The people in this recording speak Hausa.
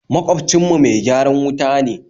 Magwabcin mu mai gyaran wuta ne